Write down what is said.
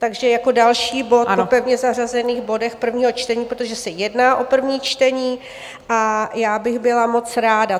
Takže jako další bod po pevně zařazených bodech prvního čtení, protože se jedná o první čtení, a já bych byla moc ráda.